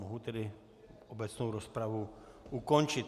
Mohu tedy obecnou rozpravu ukončit.